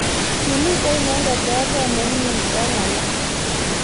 Kimitei inendet oret nemye eng alak.